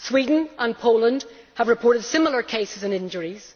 France, Sweden and Poland have reported similar cases and injuries.